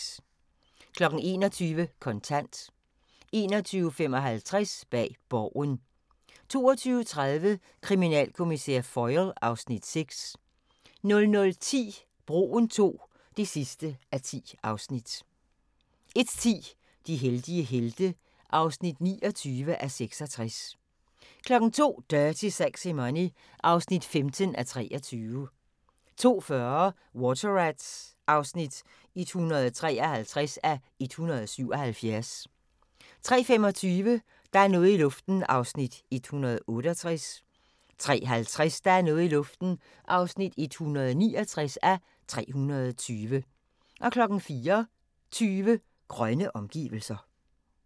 21:00: Kontant 21:55: Bag Borgen 22:30: Kriminalkommissær Foyle (Afs. 6) 00:10: Broen II (10:10) 01:10: De heldige helte (29:66) 02:00: Dirty Sexy Money (15:23) 02:40: Water Rats (153:177) 03:25: Der er noget i luften (168:320) 03:50: Der er noget i luften (169:320) 04:20: Grønne omgivelser